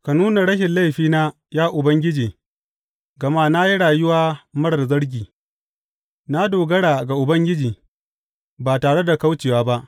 Ka nuna rashin laifina, ya Ubangiji, gama na yi rayuwa marar zargi; Na dogara ga Ubangiji ba tare da kaucewa ba.